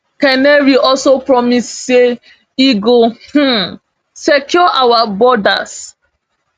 canary also promise say e go um secure our borders